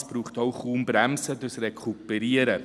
Es braucht auch kaum Bremsen durch das Rekuperieren.